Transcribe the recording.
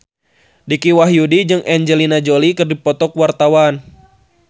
Dicky Wahyudi jeung Angelina Jolie keur dipoto ku wartawan